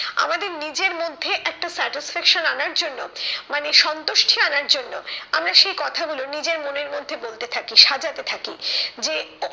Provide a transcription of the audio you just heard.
আমাদের নিজের মধ্যে একটা satisfaction আনার জন্য মানে সন্তুষ্টি আনার জন্য আমরা সেই কথা গুলো নিজের মনের মধ্যে বলতে থাকি সাজাতে থাকি যে